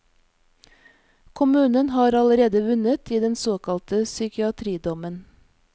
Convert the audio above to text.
Kommunen har allerede vunnet i den såkalte psykiatridommen.